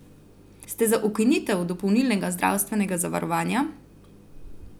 Ste za ukinitev dopolnilnega zdravstvenega zavarovanja?